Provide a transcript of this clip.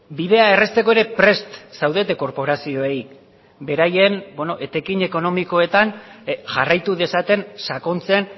bidea errazteko ere prest zaudete korporazioei beraien etekin ekonomikoetan jarraitu dezaten sakontzen